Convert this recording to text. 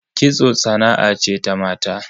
Kitso sana'a ce ta mata